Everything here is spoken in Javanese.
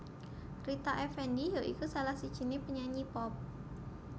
Rita Effendy ya iku salah sijiné penyanyi pop